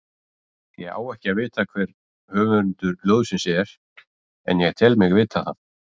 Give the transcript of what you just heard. Ég á ekki að vita hver höfundur ljóðsins er, en ég tel mig vita það.